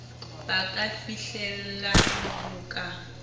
ba ka fihlellang ho ka